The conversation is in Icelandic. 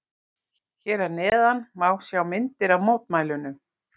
Hér að neðan má sjá myndir af mótmælunum.